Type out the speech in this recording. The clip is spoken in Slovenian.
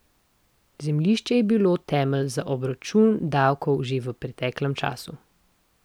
Zemljišče je bilo temelj za obračun davkov že v preteklem času.